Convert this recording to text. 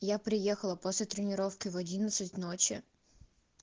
я приехала после тренировки в час ночи